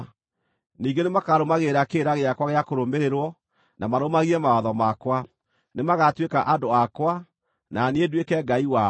Ningĩ nĩmakarũmagĩrĩra kĩrĩra gĩakwa gĩa kũrũmĩrĩrwo, na marũmagie mawatho makwa. Nĩmagatuĩka andũ akwa, na niĩ nduĩke Ngai wao.